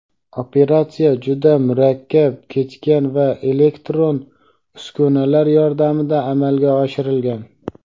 Operatsiya juda murakkab kechgan va elektron uskunalar yordamida amalga oshirilgan.